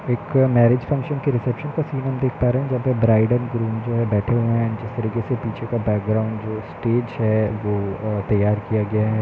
एक marriage function के reception का सीन हम देख पा रहे हैं। जहाँ पे ब्राइड एंड ग्रूम जो है बैठे हुए है। जिस तरीके से पीछे का बैकग्राउंड जो स्टेज है वो अ- तैयार किया गया है।